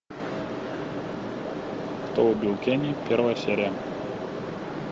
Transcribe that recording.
кто убил кенни первая серия